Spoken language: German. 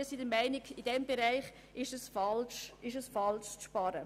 Wir sind der Meinung, dass es falsch ist, in diesem Bereich zu sparen.